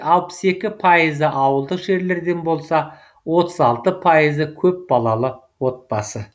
алпыс екі пайызы ауылдық жерлерден болса отыз алты пайызы көпбалалы отбасы